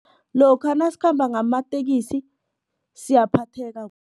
Lokha nasikhamba ngamatekisi siyaphatheka